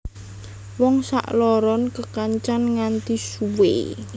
Wong sakloron kekancan nganti suwe